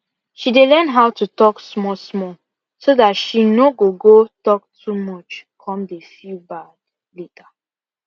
she dey learn how to talk small small so that she no go go talk too much come dey feel bad later